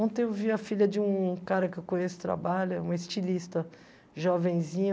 Ontem eu vi a filha de um cara que eu conheço que trabalha, uma estilista jovenzinha.